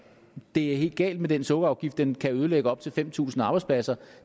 det er helt galt med den sukkerafgift den kan ødelægge op til fem tusind arbejdspladser